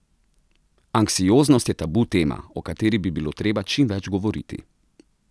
Anksioznost je tabu tema, o kateri bi bilo treba čim več govoriti.